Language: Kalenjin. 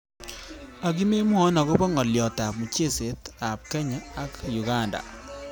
akimwawo akobo ngoliot ab mchezet av kenya ak uganda